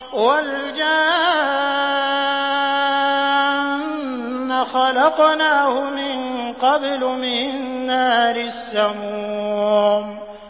وَالْجَانَّ خَلَقْنَاهُ مِن قَبْلُ مِن نَّارِ السَّمُومِ